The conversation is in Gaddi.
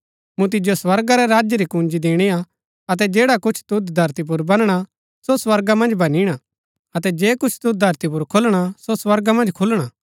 मूँ तिजो स्वर्गा रै राज्य री कुंजी दिणी अतै जैडा कुछ तुद धरती पुर बनणा सो स्वर्गा मन्ज बनिणा अतै जे कुछ तुद धरती पुर खोलणा सो स्वर्गा मन्ज खुलणा